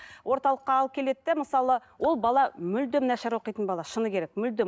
орталыққа алып келеді де мысалы ол бала мүлдем нашар оқитын бала шыны керек мүлдем